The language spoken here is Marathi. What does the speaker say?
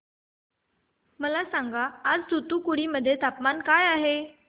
मला सांगा आज तूतुकुडी मध्ये तापमान काय आहे